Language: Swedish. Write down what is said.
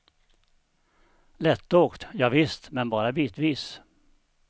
Lättåkt, javisst, men bara bitvis.